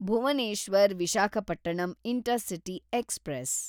Bhuvneshwar Visakhapatnam intercity express